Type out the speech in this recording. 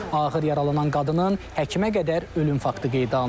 Ağır yaralanan qadının həkimə qədər ölüm faktı qeydə alınıb.